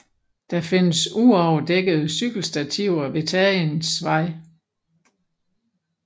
Der findes uoverdækkede cykelstativer ved Tagensvej